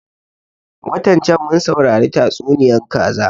Watan can mun saurari tatsuniyan kaza